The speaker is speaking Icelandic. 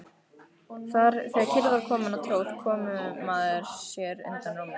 Þegar kyrrð var komin á tróð komumaður sér undan rúminu.